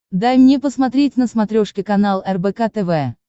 дай мне посмотреть на смотрешке канал рбк тв